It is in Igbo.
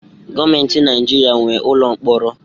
Gọọmenti Naijiria nwe ụlọ mkpọrọ